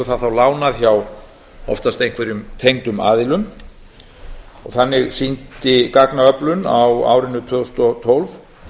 það þá lánað hjá oftast einhverjum tengdum aðilum þannig sýndi gagnaöflun á árinu tvö þúsund og tólf